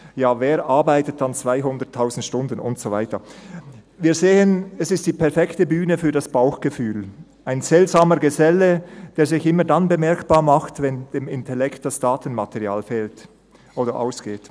Ja, wer arbeitet dann 200 000 Stunden?» Und so weiter … Wir sehen, es ist die perfekte Bühne für das Bauchgefühl – ein seltsamer Geselle, der sich immer dann bemerkbar macht, wenn dem Intellekt das Datenmaterial fehlt oder ausgeht.